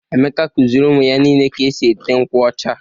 Emeka kụziiri ụmụ ya niile ka e si ete nkwụ ọcha.